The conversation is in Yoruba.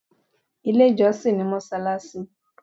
Ilé ìjọsìn ni mọ́ṣáláṣí.